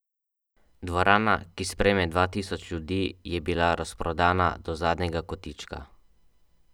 Dvorana, ki sprejme dva tisoč ljudi, je bila razprodana do zadnjega kotička.